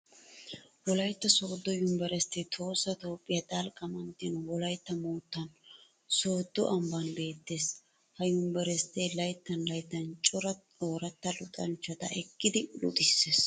Wolaytta Sooddo univeristtee Tohossa Toophphiyaa dalgga manttiyan, Wolaytta moottan, Sooddo ambban beettees. Ha univeristtee layttan layttan cora ooratta luxanchchata ekkidi luxissees.